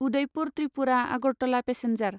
Udaipur Tripura Agartala passenger